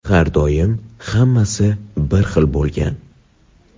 har doim hammasi bir xil bo‘lgan.